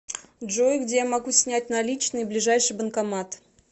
джой где я могу снять наличные ближайший банкомат